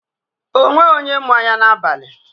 O nweghị onye mụ anya n'abalị.